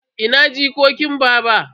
Ina jikokin baba?